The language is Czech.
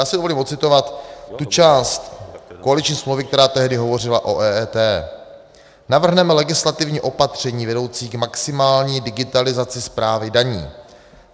Já si dovolím ocitovat tu část koaliční smlouvy, která tehdy hovořila o EET: Navrhneme legislativní opatření vedoucí k maximální digitalizaci správy daní.